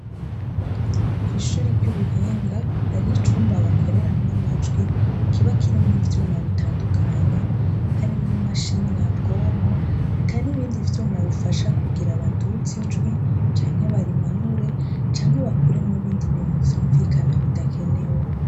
Kw'ishure ry'ubuhinga hariho icumba bakoreramwo amajwi kiba kirimwo ivyuma bitandukanye harimwo imashini nyabwonko eka n'ibindi vyuma bifasha kugira baduze ijwi canke barimanure, canke bakuremwo ibindi bintu vyumvikana bidakenewe.